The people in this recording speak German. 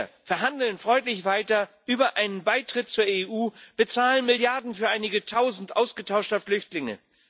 Wir verhandeln freundlich weiter über einen Beitritt zur EU, bezahlen Milliarden für einige Tausend ausgetauschter Flüchtlinge.